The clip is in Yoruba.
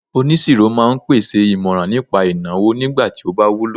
onisiro ma n pèsè imoran nipa ìnáwó nigba ti o ba wúlò